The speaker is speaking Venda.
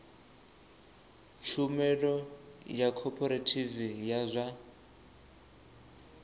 tshumelo ya khophorethivi ya zwa